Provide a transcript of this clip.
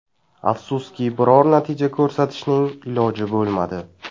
Afsuski, biror natija ko‘rsatishning iloji bo‘lmadi.